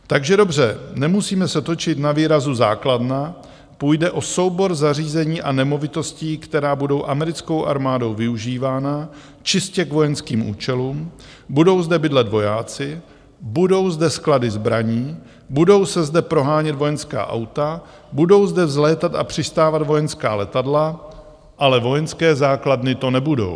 Takže dobře, nemusíme se točit na výrazu základna, půjde o soubor zařízení a nemovitostí, která budou americkou armádou využívána čistě k vojenským účelům, budou zde bydlet vojáci, budou zde sklady zbraní, budou se zde prohánět vojenská auta, budou zde vzlétat a přistávat vojenská letadla, ale vojenské základny to nebudou.